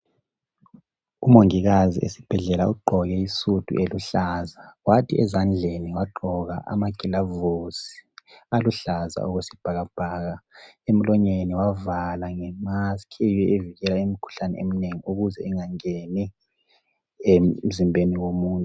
Umongikazi esibhedlela ugqoke isudu eluhlaza kwathi ezandleni wagqoka amagilavusi aluhlaza okwesibhakabhaka emlonyeni wavala nge mask eyiyo evikela imikhuhlane eminengi ukuze engangeni emzimbeni womuntu.